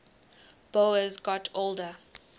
boas got older